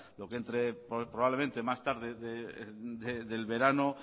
lo que entre probablemente más tarde del verano